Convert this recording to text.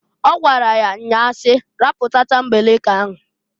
O gwara ya nnya si, "Rapu tatambeleke ahụ!